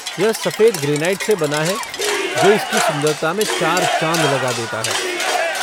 यह सफेद ग्रेनाइट से बना है जो इसकी सुंदरता मैं चार चाँद लगा देता है।